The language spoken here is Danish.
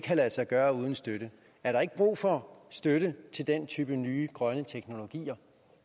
lade sig gøre uden støtte er der ikke brug for støtte til den type nye grønne teknologier